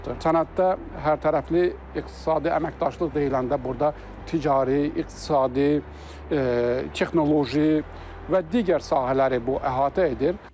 Sənəddə hərtərəfli iqtisadi əməkdaşlıq deyiləndə burda ticari, iqtisadi, texnoloji və digər sahələri bu əhatə edir.